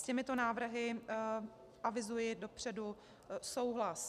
S těmito návrhy avizuji dopředu souhlas.